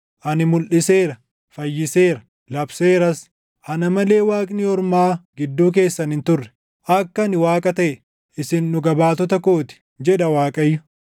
Ani mulʼiseera; fayyiseera; labseeras; ana malee waaqni ormaa gidduu keessan hin turre. Akka ani Waaqa taʼe, isin dhuga baatota koo ti” // jedha Waaqayyo.